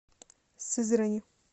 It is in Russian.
сызрани